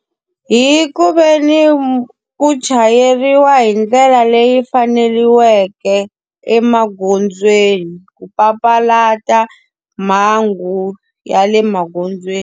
Hi ku ve ni ku chayeriwa hi ndlela leyi faneleke emagondzweni, ku papalata mhangu ya le magondzweni.